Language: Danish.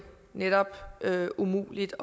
netop umuligt